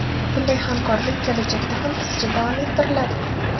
Bunday hamkorlik kelajakda ham izchil davom ettiriladi.